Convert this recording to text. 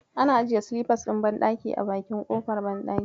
Ana ajiye silifas ɗin banɗaki a bakin kofar banɗaki.